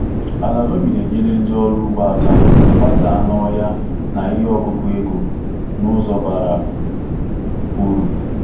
Ala loamy na-enyere ndị ọrụ ugbo aka gbasaa n’ọhịa na ihe ọkụkụ ego n’ụzọ bara uru.